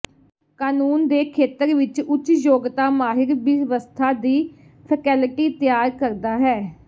ਕਾਨੂੰਨ ਦੇ ਖੇਤਰ ਵਿੱਚ ਉੱਚ ਯੋਗਤਾ ਮਾਹਿਰ ਬਿਵਸਥਾ ਦੀ ਫੈਕਲਟੀ ਤਿਆਰ ਕਰਦਾ ਹੈ